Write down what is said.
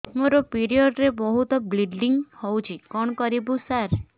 ମୋର ପିରିଅଡ଼ ରେ ବହୁତ ବ୍ଲିଡ଼ିଙ୍ଗ ହଉଚି କଣ କରିବୁ ସାର